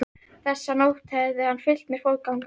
Þessa nótt hafði hann fylgt mér fótgangandi heim.